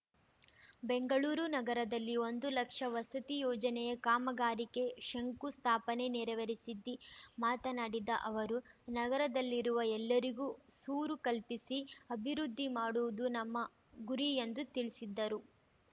ಬೆಂಗಳೂರು ನಗರದಲ್ಲಿ ಒಂದು ಲಕ್ಷ ವಸತಿ ಯೋಜನೆಯ ಕಾಮಗಾರಿಕೆ ಶಂಕುಸ್ಥಾಪನೆ ನೆರವೇರಿಸಿದ್ದಿ ಮಾತನಾಡಿದ ಅವರು ನಗರದಲ್ಲಿರುವ ಎಲ್ಲರಿಗೂ ಸೂರು ಕಲ್ಪಿಸಿ ಅಭಿವೃದ್ಧಿ ಮಾಡುವುದು ನಮ್ಮ ಗುರಿ ಎಂದು ತಿಳಿಸಿದ್ದರು